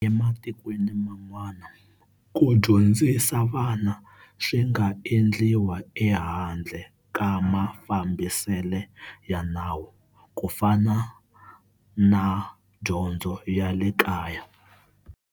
Ematikweni man'wana, ku dyondzisa vana swinga endliwa e handle ka mafambisele ya nawu, kufana na dyondzo ya le kaya.